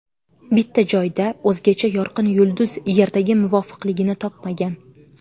Bitta joyda o‘zgacha yorqin yulduz Yerdagi muvofiqligini topmagan.